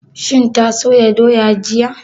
Shin ta soya doya jiya?